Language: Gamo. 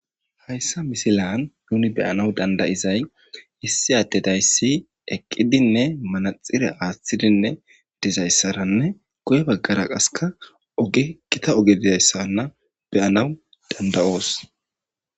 hayssa misilan nuni beyanaw dandayizay issi attedayssi eqqidinne manaxire aaththidinne dizayssaranne goye baggara qaseka oge qita oge dizayssanna beyanaw dandayoos